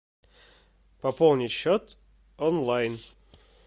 пополнить счет онлайн